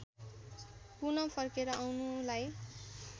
पुन फर्केर आउनुलाई